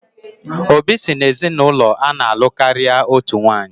Obi si n'ezinaụlọ ana-alụ karịa otu nwanyị